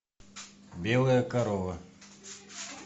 белая корова